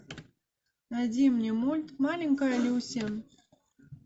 найди мне мульт маленькая люси